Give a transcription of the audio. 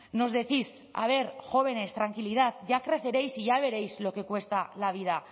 nos decís a ver jóvenes tranquilidad ya creceréis y ya veréis lo que cuesta la vida